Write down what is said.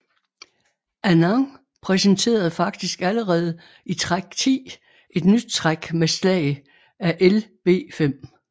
Anand præsenterede faktisk allerede i træk 10 et nyt træk med slag af Lb5